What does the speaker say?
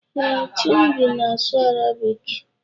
Ee, Chimdi na-asụ Arabik.